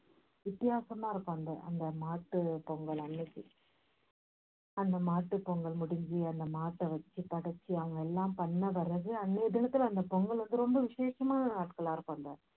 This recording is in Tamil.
வித்தியாசமா இருக்கும் அந்த அந்த மாட்டுப் பொங்கல் அன்னைக்க அந்த மாட்டுப் பொங்கல் முடிஞ்சி அந்த மாட்டை வச்சி படைச்சி அவங்க எல்லாம் பண்ண வர்றது அன்னைய தினத்துல அந்த பொங்கல் வந்து ரொம்ப விஷேசமான நாட்களாயிருக்கும்